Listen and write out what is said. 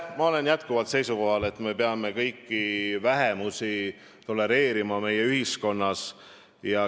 Ma olen endiselt seisukohal, et me peame tolereerima kõiki vähemusi meie ühiskonnas.